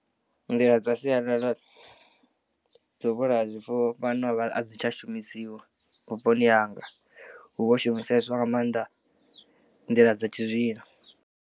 Nḓila dza sialala dza u vhulaya zwifuwo fhano a dzi tsha shumisiwa vhuponi hanga hu vho shumiseswa nga maanḓa nḓila dza tshizwino.